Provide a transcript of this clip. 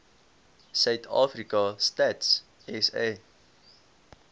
suidafrika stats sa